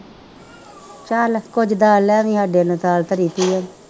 ਚੱਲ ਕੁੱਝ ਦਾਲ ਲੈ ਜਾਈ ਸਾਡੇ ਨੇ ਦਾਲ ਧਰੀ ਹੋਈ ਹੈ